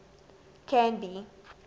canby